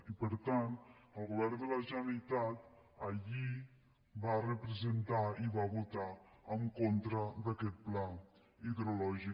i per tant el govern de la generalitat ahir va representar i va votar en contra d’aquest pla hidrològic